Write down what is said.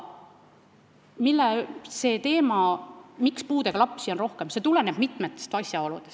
See, miks puudega lapsi on rohkem, tuleneb mitmest asjaolust.